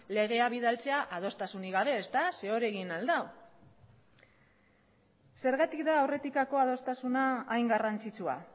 legea bidaltzea adostasunik gabe zeren hori egin al du zergatik da aurretikako adostasuna hain garrantzitsua